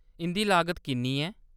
इंʼदी लागत किन्नी ऐ ?